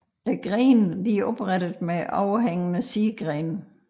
Grenene er oprette med overhængende sidegrene